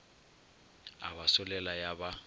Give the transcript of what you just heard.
a ba solela ya ba